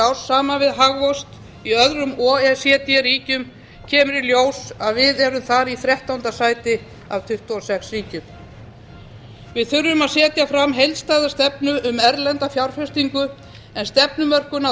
árs saman við hagvöxt í öðrum o e c d ríkjum kemur í ljós að við erum þar í þrettánda sæti af tuttugu og sex ríkjum við þurfum að setja fram heildstæða stefnu um erlenda fjárfestingu en stefnumörkun á